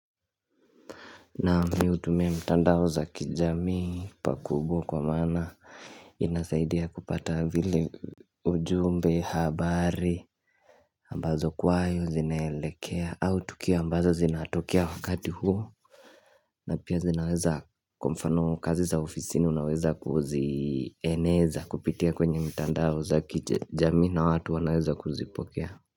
Na miutumia mtandao za kijami pakubo kwa mana inasaidia kupata vile ujumbe habari ambazo kwayo zinelekea au tukia ambazo zinatokea wakati huo na pia zinaweza kwa mfano kazi za ofisini unaweza kuzieneza kupitia kwenye mtandao za kijamii na watu wanaweza kuzipokea.